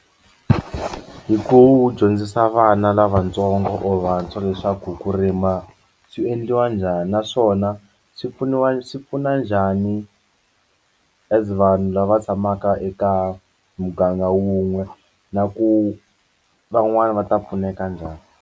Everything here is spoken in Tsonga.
Hi ku dyondzisa vana lavatsongo or vantshwa leswaku ku rima swi endliwa njhani naswona swi pfuniwa swi pfuna njhani as vanhu lava tshamaka eka muganga wun'we na ku van'wani va ta pfuneka njhani.